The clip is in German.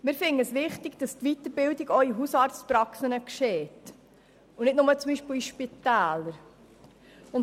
Wir finden es wichtig, dass Weiterbildung auch in Hausarztpraxen stattfindet und nicht nur beispielsweise in Spitälern.